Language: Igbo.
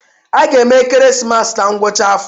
A ga-eme ekeresimesi na ngwụcha afọ